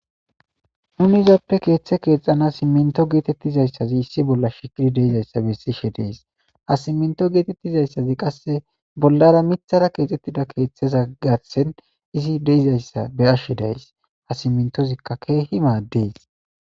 nuni izappe keeththe keexana simminto geetettizayssazi issi bolla shikidi deizayssa bessishe dees ha simminto geetettizayssazi qasse bollara mithara keexxettida keeththeza garsen izi deizayssa be ashshe days ha simmintozikka keehi maaddees